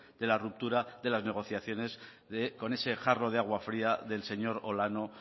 de la ruptura de las negociaciones con ese jarro de agua fría del señor olano